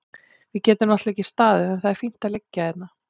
Við getum náttúrlega ekki staðið en það er fínt að liggja hérna.